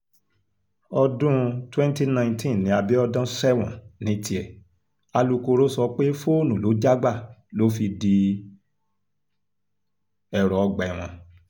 ọdún 2019 ni abiodun sẹ́wọ̀n ní tiẹ̀ alūkkoro sọ pé fóònù ló já gbà tó fi di ẹ̀rọ ọgbà ẹ̀wọ̀n